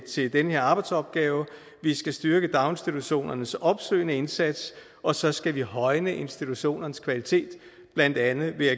til den her arbejdsopgave vi skal styrke daginstitutionernes opsøgende indsats og så skal vi højne institutionernes kvalitet blandt andet ved